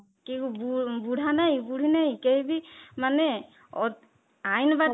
କେଉଁ ବୁଢା ନାହିଁ ବୁଢ଼ୀ ନାହିଁ କେହି ବି ମାନେ ଆଇନ